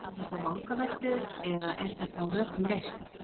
Eru þetta vangaveltur eða er þetta á rökum reist?